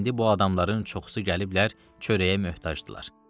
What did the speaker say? İndi bu adamların çoxusu gəliblər çörəyə möhtacdırlar.